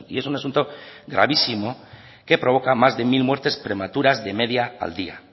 es un asunto gravísimo que provoca más de mil muertes prematuras de media al día